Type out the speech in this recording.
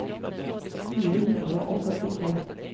fire hundre og førtito